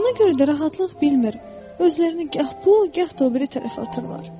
Buna görə də rahatlıq bilmir, özlərini gah bu, gah da o biri tərəfə atırlar.